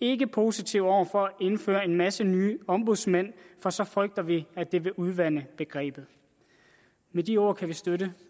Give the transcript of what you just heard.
ikke positive over for at indføre en masse nye ombudsmænd for så frygter vi at det vil udvande begrebet med de ord kan vi støtte